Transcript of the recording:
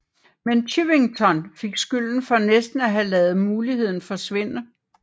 Men Chivington fik skylden for næsten at have ladet muligheden forsvinde